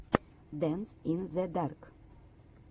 дэнс ин зе дарк